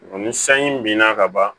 ni sanji binna ka ban